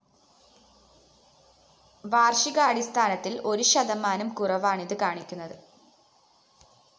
വാര്‍ഷികാടിസ്ഥാനത്തില്‍ ഒരു ശതമാനം കുറവാണിതു കാണിക്കുന്നത്